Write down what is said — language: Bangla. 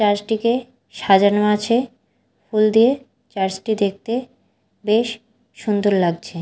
চার্চ -টিকে সাজানো আছে ফুল দিয়ে চার্চ -টি দেখতে বেশ সুন্দর লাগছে।